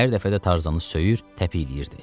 Hər dəfə də Tarzanı söyür, təpikləyirdi.